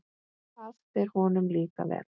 Það fer honum líka vel.